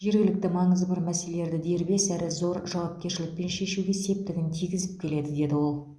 жергілікті маңызы бар мәселелерді дербес әрі зор жауапкершілікпен шешуге септігін тигізіп келеді деді ол